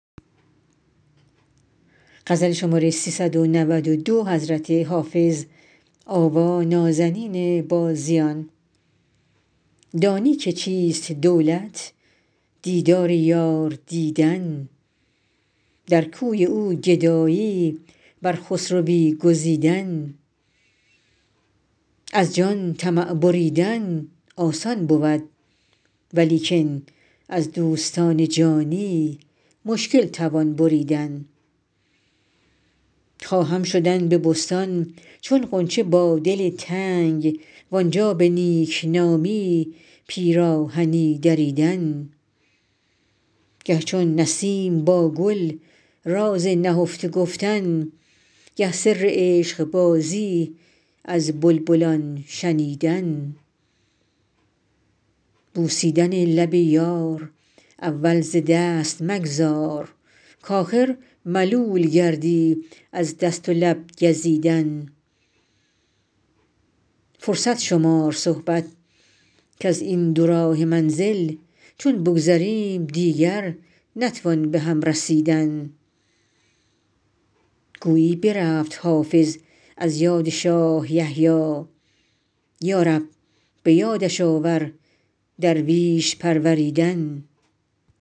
دانی که چیست دولت دیدار یار دیدن در کوی او گدایی بر خسروی گزیدن از جان طمع بریدن آسان بود ولیکن از دوستان جانی مشکل توان بریدن خواهم شدن به بستان چون غنچه با دل تنگ وآنجا به نیک نامی پیراهنی دریدن گه چون نسیم با گل راز نهفته گفتن گه سر عشق بازی از بلبلان شنیدن بوسیدن لب یار اول ز دست مگذار کآخر ملول گردی از دست و لب گزیدن فرصت شمار صحبت کز این دوراهه منزل چون بگذریم دیگر نتوان به هم رسیدن گویی برفت حافظ از یاد شاه یحیی یا رب به یادش آور درویش پروریدن